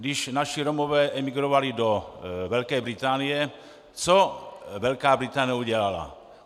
Když naši Romové emigrovali do Velké Británie, co Velká Británie udělala?